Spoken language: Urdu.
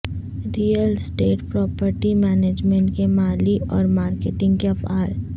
ریئل اسٹیٹ پراپرٹی مینجمنٹ کے مالی اور مارکیٹنگ کے افعال